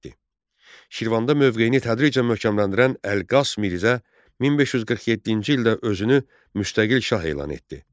Şirvanda mövqeyini tədricən möhkəmləndirən Əlqas Mirzə 1547-ci ildə özünü müstəqil şah elan etdi.